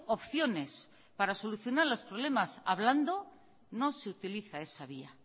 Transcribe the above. opciones para solucionar los problemas hablando no se utiliza esa vía